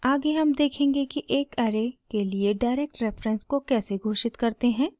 आगे हम देखेंगे कि एक ऐरे के लिए डायरेक्ट रेफरेंस को कैसे घोषित करते हैं